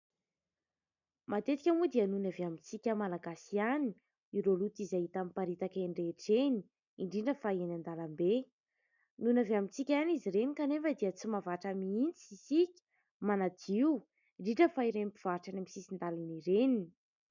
Matetika moa dia nohon'ny avy amintsika malagasy ihany ireo loto izay hita miparitaka eny rehetra eny, indrindra fa eny an-dalambe nohon'ny avy amintsika ihany izy ireny kanefa dia tsy mahavatra mihitsy isika manadio, indrindra fa ireny mpivarotra eny amin'ny sisin-dalana ireny.